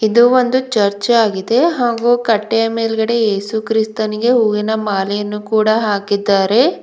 ಇದು ಒಂದು ಚರ್ಚ್ ಆಗಿದೆ ಹಾಗೂ ಕಟ್ಟೆಯ ಮೇಲ್ಗಡೆ ಯೇಸುಕ್ರಿಸ್ತನಿಗೆ ಹೂವಿನ ಮಾಲೆಯನ್ನು ಕೂಡ ಹಾಕಿದ್ದಾರೆ.